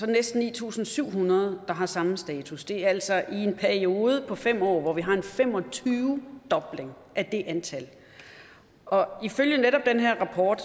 det næsten ni tusind syv hundrede der har samme status det er altså i en periode på fem år hvor vi har en fem og tyve dobling af det antal ifølge netop den her rapport